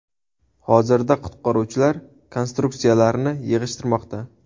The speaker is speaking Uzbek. Hozirda qutqaruvchilar konstruksiyalarni yig‘ishtirmoqda.